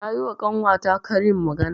Nayi wa ƙanwa ta karin magana.